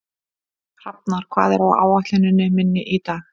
Hrafnar, hvað er á áætluninni minni í dag?